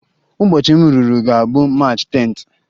Ụbọchị m ruru ga-abụ March 10th